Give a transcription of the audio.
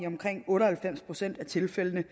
omkring otte og halvfems procent af tilfældene